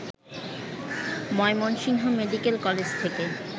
Mymensingh medical college থেকে